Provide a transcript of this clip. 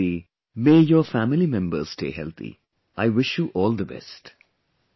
May you stay healthy; may your family members stay healthy, I wish you all the best